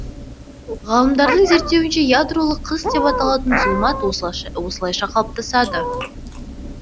ғалымдардың зерттеуінше ядролық қыс деп аталатын зұлмат осылайша қалыптасады